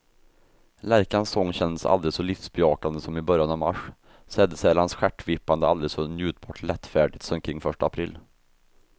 Lärkans sång kändes aldrig så livsbejakande som i början av mars, sädesärlans stjärtvippande aldrig så njutbart lättfärdigt som kring första april.